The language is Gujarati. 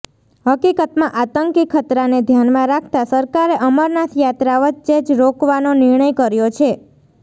હકીકતમાં આતંકી ખતરાને ધ્યાનમાં રાખતાં સરકારે અમરનાથ યાત્રા વચ્ચે જ રોકવાનો નિર્ણય કર્યો છે